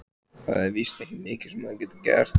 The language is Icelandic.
Það er víst ekki mikið sem maður getur gert.